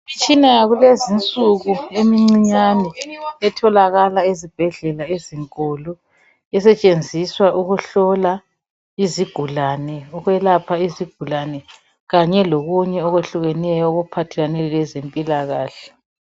Imitshina yakulezi insuku emncinyane etholakala ezibhedlela ezinkulu esetshenziswa ukuhlola izigulane ukwelapha izigulane kanye lokunye okwehlukeneyo okuphathelane lezempilakahle.